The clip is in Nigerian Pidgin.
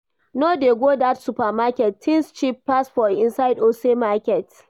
No dey go that supermarket, things cheap pass for inside ose market